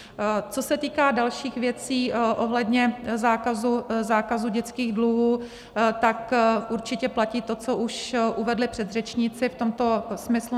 Co se týká dalších věcí ohledně zákazu dětských dluhů, tak určitě platí to, co už uvedli předřečníci v tomto smyslu.